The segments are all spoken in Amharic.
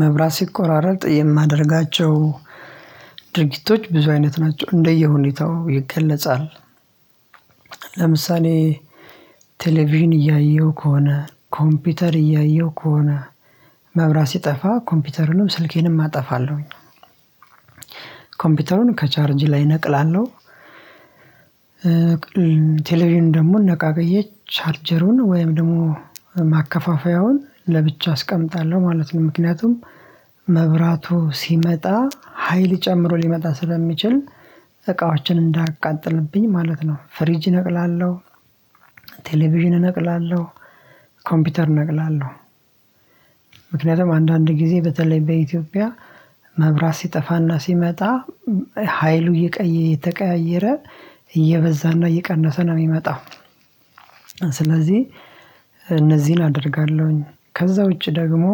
መብራት ሲቆራረጥ የማደርጋቸው ድርጊቶች ብዙ አይነት ናቸው እንደየ ሁኔታው ይገለጻል። ለምሳሌ ቴሌቪዥን እያየሁ ከሆነ ኮምፒውተር እያየሁ ከሆነ መብራት ሲጠፋ ኮምፒውተሩንም ስልኬንም አጠፋለሁ። ኮምፒውተሩን ከቻርጅ ላይ እነቅላለሁ። ቴሌቪዥን ደግሞ ነቃቀዬ ቻረጀሩን ወይም ደግሞ ማከፋፈያውን ለብቻ አስቀምጣለሁ ማለት ነው። ምክንያቱም መብራቱ ሲመጣ ሀይል ጨምሮ ሊመጣ ስለሚችል እቃዎችን እንዳያቃጥልብኝ ማለት ነው። ፍሪጅ እነቅላለሁ ቴሌቪዥን እነቅላለሁ ኮምፒውተር እነቅላለሁ። ምክንያቱም አንዳንድ ጊዜ በተለይ በኢትዮጵያ መብራት ሲጠፋና ሲመጣ ሀይሉ እየተቀያየረ እየበዛና እየቀነሰ ነው ሚመጣው። ስለዚህ እነዚህን አደርጋለሁ። ከዚያ ውጪ ደግሞ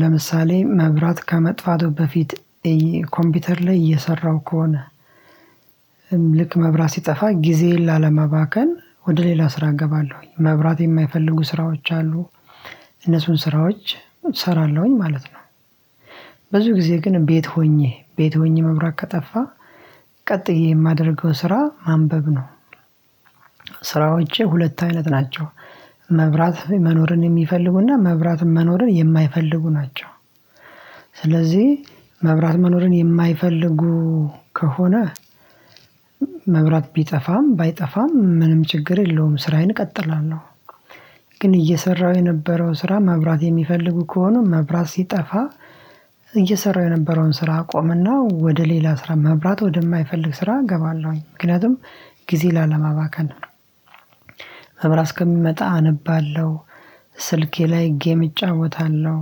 ለምሳሌ መብራት ከመጥፋቱ በፊት ኮምፒውተር ላይ እየሰራሁ ከሆነ ልክ መብራት ሲጠፋ ጊዜዬን ላለማባከን ወደ ሌላ ስራ እገባለሁ። መብራት የማይፈልጉ ስራዎች አሉ እነሱን ስራዎች እሰራለሁ ማለት ነው። ብዙ ጊዜ ግን ቤት ሆኜ ቤት ሆኜ መብራት ከጠፋ ቀጥዬ የማደርገው ስራ ማንበብ ነው። ስራዎቼ ሁለት አይነት ናቸው መብራት መኖርን የሚፈልጉና መብራት መኖርን የማይፈልጉ ናቸው። ስለዚህ መብራት መኖርን የማይፈልጉ ከሆነ መብራት ቢጠፋም ባይጠፋም ምንም ችግር የለውም ስራዬን እቀጥላለሁ። ግን እየሰራሁ የነበረው ስራ መብራት የሚፈልጉ ከሆነ መብራት ሲጠፋ እየሰራሁ የነበረውን ስራ አቆምና ወደ ሌላ ስራ መብራት ወደማይፈልግ ስራ እገባለሁ ምክንያቱም ጊዜን ላለማባከን ነው። መብራት እስከሚመጣ አነባለሁ ስልኬ ላይ ጌም እጫወታለሁ።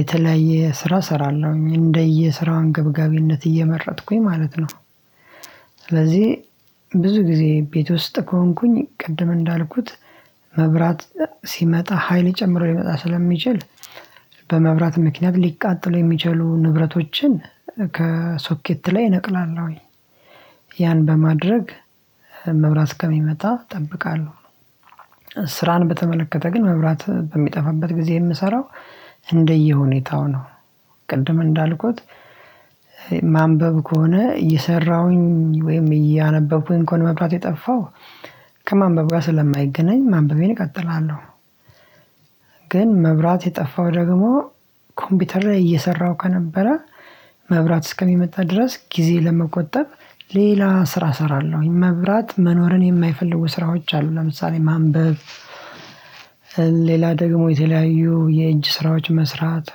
የተለያየ ስራ እሰራለሁ እንደየ ስራው አንገብጋቢነት እየመረጥኩኝ ማለት ነው። ስለዚህ ብዙ ጊዜ ቤት ውስጥ ከሆንኩኝ ቅድም እንዳልኩት መብራት ሲመጣ ሀይል ጨምሮ ሊመጣ ስለሚችል በመብራት ምክንያት ሊቃጠሉ የሚችሉ ንብረቶችን ከሶኬት ላይ እነቅላለሁ። ያን በማድረግ መብራት እስከሚመጣ እጠብቃለሁ። ስራን በተመለከተ ግን መብራት በሚጠፋበት ጊዜ የምሰራው እንደየ ሁኔታው ነው። ቅድም እንዳልኩት ማንበብ ከሆነ እየሰራሁኝ ወይም እያነበብኩኝ ከሆነ መብራት የጠፋው ከማንበብ ጋር ስለማይገናኝ ማንበቤን እቀጥላለሁ። ግን መብራት የጠፋው ደግሞ ኮምፒውተር ላይ እየሰራሁ ከነበረ መብራት እስከሚመጣ ድረስ ጊዜን ለመቆጠብ ሌላ ስራ እሰራለሁ። መብራት መኖርን የማይፈልጉ ስራዎች አሉ ለምሳሌ ማንበብ። ሌላ ደግሞ የተለያዩ የእጅ ስራዎች መስራት።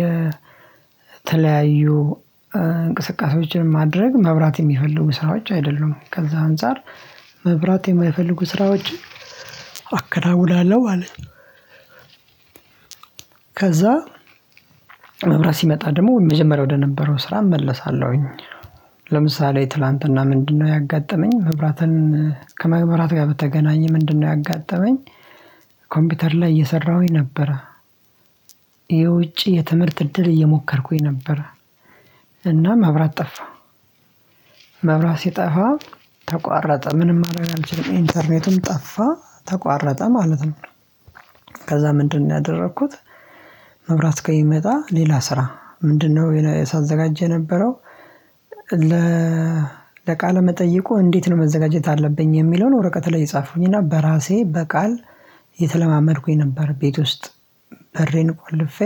የተለያዩ እንቅስቃሴዎችን ማድረግ መብራት የሚፈልጉ ስራዎች አይደሉም ከዚ አንፃር መብራት የማይፈልጉ ስራዎችን አከናውናለሁ ማለት ነው። ከዚያ መብራት ሲመጣ ደግሞ መጀመሪያ ወደነበረው ስራ እመለሳለሁ። ለምሳሌ ትላንትና ምንድን ነው ያጋጠመኝ? መብራትን ከመግብራት ጋር በተገናኘ ምንድን ነው ያጋጠመኝ? ኮምፒውተር ላይ እየሰራሁ ነበረ። የውጪ የትምህርት እድል እየሞከርኩኝ ነበረ። እናም መብራት ጠፋ። መብራት ሲጠፋ ተቋረጠ ምንም ማድረግ አልችልም ኢንተርኔትም ጠፋ ተቋረጠ ማለት ነው። ከዚያ ምንድን ነው ያደረኩት? መብራት እስከሚመጣ ሌላ ስራ ምንድን ነው ሳዘጋጀ የነበረው? ለ ቃለ መጠየቁ እንዴት ነው መዘጋጀት ያለብኝ የሚለውን ወረቀት ላይ ጻፍኩኝ እና በራሴ በቃል እየተለማመድኩኝ ነበር። ቤት ውስጥ በሬን ቆልፌ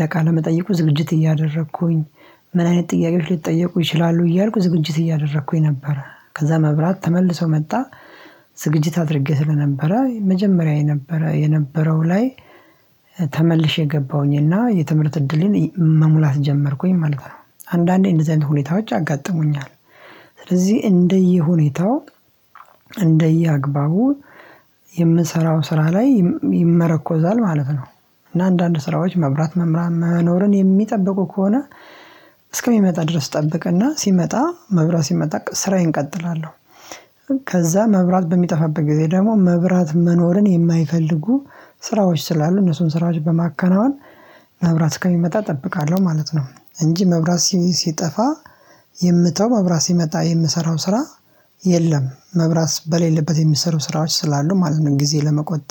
ለቃለ መጠይቁ ዝግጅት እያደረኩኝ ምን አይነት ጥያቄዎች ሊጠየቁ ይችላሉ እያልኩ ዝግጅት እያደረኩኝ ነበር። ከዚያ መብራት ተመልሶ መጣ። ዝግጅት አድርጌ ስለነበረ መጀመሪያ የነበረው ላይ ተመልሼ ገባሁኝና የትምህርት እድሌን መሙላት ጀመርኩኝ ማለት ነው። አንዳንዴ እንደዚህ አይነት ሁኔታዎች ያጋጥሙኛል። ስለዚህ እንደየ ሁኔታው እንደየ አግባቡ የምሰራው ስራ ላይ ይመረኮዛል ማለት ነው። እና አንዳንድ ስራዎች መብራት መኖርን የሚጠብቁ ከሆነ እስከሚመጣ ድረስ እጠብቅና ሲመጣ መብራት ሲመጣ ስራዬን እቀጥላለሁ። ከዚያ መብራት በሚጠፋበት ጊዜ ደግሞ መብራት መኖርን የማይፈልጉ ስራዎች ስላሉ እነሱን ስራዎች በማከናወን መብራት አስከሚመጣ እጠብቃለሁ ማለት ነው። እንጂ መብራት ሲጠፋ የምተወው መብራት ሲመጣ የምሰራው ስራ የለም መብራት በሌለበት የሚሰሩ ስራዎች ስላሉ ማለት ነው። ጊዜ ለመቆጠብ